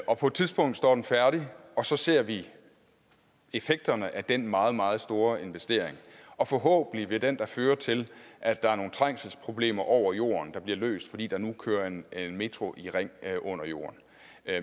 og på et tidspunkt står den færdig og så ser vi effekterne af den meget meget store investering og forhåbentlig vil den føre til at der er nogle trængselsproblemer over jorden der bliver løst fordi der nu kører en metro i ring under jorden